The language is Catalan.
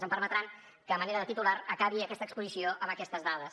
em permetran que a manera de titular acabi aquesta exposició amb aquestes dades